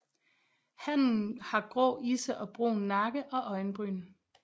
Hannen har grå isse og brun nakke og øjenbryn